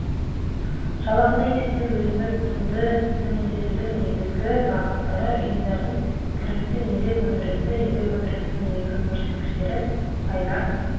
жалақыны есептеу өзіндік құнды төмендетудің негізгі бағыттары ұйымдардың кірісі еңбек өндірісі еңбек өндірісінің негізгі көрсеткіштері пайда